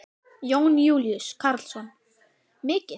Jón Júlíus Karlsson: Mikið?